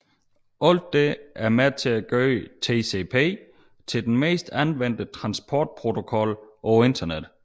Alt dette er med til at gøre TCP til den mest anvendte transportprotokol på Internettet